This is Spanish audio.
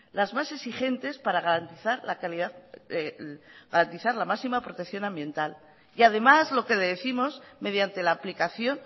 las más exigentes para garantizar la máxima protección ambiental y además lo que décimos mediante la aplicación